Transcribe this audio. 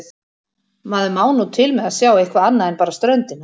Maður má nú til með að sjá eitthvað annað en bara ströndina.